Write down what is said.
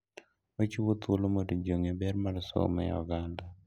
Ochiwo thuolo mondo ji ong'e ber mar somo e oganda.